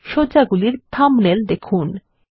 সজ্জাগুলির thumbnail দেখুন